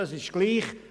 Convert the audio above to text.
Das ist egal.